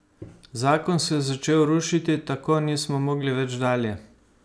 Zakon se je začel rušiti, tako nismo mogli več dalje.